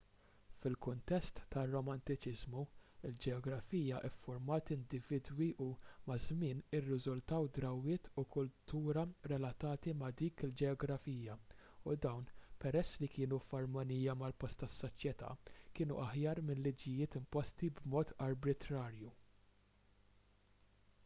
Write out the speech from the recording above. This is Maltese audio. fil-kuntest tar-romantiċiżmu il-ġeografija ffurmat individwi u maż-żmien irriżultaw drawwiet u kultura relatati ma' dik il-ġeografija u dawn peress li kienu f'armonija mal-post tas-soċjetà kienu aħjar minn liġijiet imposti b'mod arbitrarju